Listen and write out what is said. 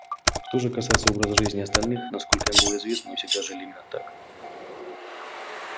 что же касается образа жизни остальных насколько им было известно они всегда жили именно так